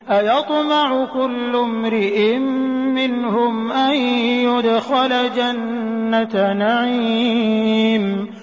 أَيَطْمَعُ كُلُّ امْرِئٍ مِّنْهُمْ أَن يُدْخَلَ جَنَّةَ نَعِيمٍ